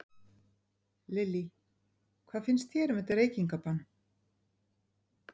Lillý: Hvað finnst þér um þetta reykingabann?